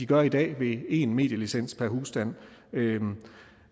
gør i dag ved en medielicens per husstand